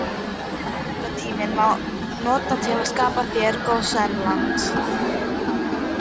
En undirbúningstímann má nota til að skapa hér gósenland.